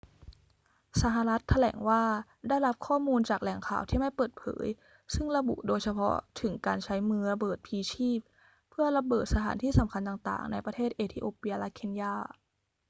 สหรัฐฯ แถลงว่าได้รับข้อมูลจากแหล่งข่าวที่ไม่เปิดเผย ซึ่งระบุโดยเฉพาะถึงการใช้มือระเบิดพลีชีพเพื่อระเบิด สถานที่สำคัญต่าง ๆ ในประเทศเอธิโอเปียและเคนยา